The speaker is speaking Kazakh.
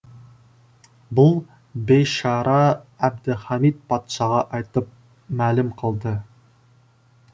бұл бейшара әбділхамит патшаға айтып мәлім қылды